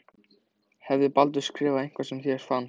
Hafði Baldur skrifað eitthvað sem þér fannst.